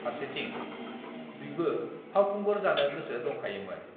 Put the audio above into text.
फारसेथिं बिबो फावखुंगुर जानो गोसो दंखायोमोन।